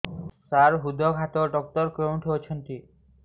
ସାର ହୃଦଘାତ ଡକ୍ଟର କେଉଁଠି ଅଛନ୍ତି